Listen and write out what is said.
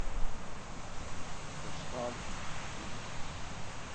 поставь шпик